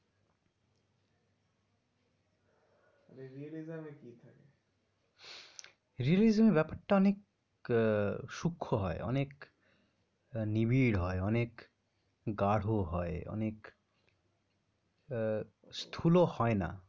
Realism য়ে কি থাকে? Realism য়ে ব্যাপারটা অনেক সুক্ষ হয়, অনেক নিবিড় হয়, অনেক গাঢ় হয়, অনেক স্থূল হয় না।